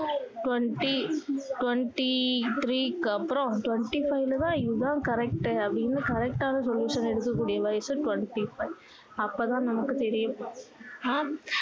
twenty twenty-three க்கு அப்பறோம் twenty-five ல தான் இது தான் correct டு அப்படின்னு correct டான olution எடுக்க கூடிய வயசு twenty-five அப்போ தான் நமக்கு தெரியும் ஆனா